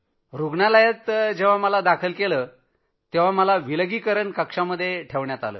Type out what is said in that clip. रूग्णालयात जेव्हा मला दाखल केलं तेव्हा मला विलगीकरण कक्षात ठेवलं होतं